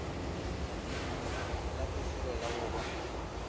la bofelo la go ba